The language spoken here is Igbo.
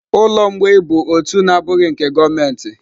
Ụlọ mgbei bụ òtù na-abụghị nke gọọmenti.